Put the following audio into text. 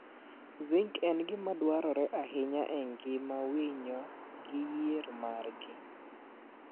Zinc en gima dwarore ahinya e ngima winyo gi yier margi.